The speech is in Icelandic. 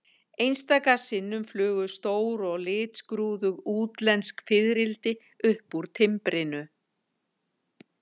Einstaka sinnum flugu stór og litskrúðug útlensk fiðrildi upp úr timbrinu.